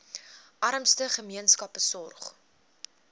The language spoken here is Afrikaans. armste gemeenskappe sorg